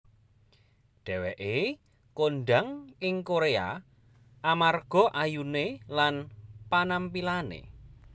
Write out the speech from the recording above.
Dheweké kondhang ing Korea amarga ayuné lan panampilané